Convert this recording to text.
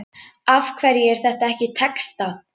Af hverju er þetta ekki textað?